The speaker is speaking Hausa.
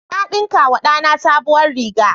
Na ɗinkawa da na sabuwar riga.